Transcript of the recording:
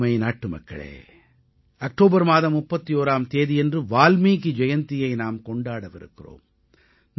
எனதருமை நாட்டுமக்களே அக்டோபர் மாதம் 31ஆம் தேதியன்று வால்மீகி ஜெயந்தியை நாம் கொண்டாடவிருக்கிறோம்